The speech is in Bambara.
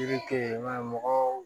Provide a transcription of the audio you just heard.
Yiri te yen i b'a ye mɔgɔw